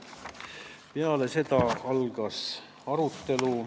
Peale seda algas arutelu.